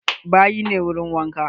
Bayi ne wurin wanka.